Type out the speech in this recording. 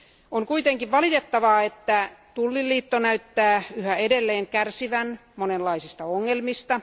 On kuitenkin valitettavaa, että tulliliitto näyttää yhä edelleen kärsivän monenlaisista ongelmista.